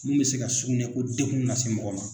Mun bɛ se ka sugunɛko dengun nase mɔgɔ ma.